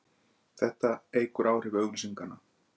Þetta eykur áhrif auglýsinganna.